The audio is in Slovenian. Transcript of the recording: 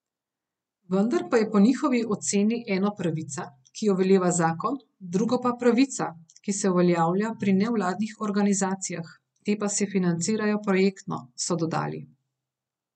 Vendar pa je po njihovi oceni eno pravica, ki jo veleva zakon, drugo pa pravica, ki se uveljavlja pri nevladnih organizacijah, te pa se financirajo projektno, so dodali.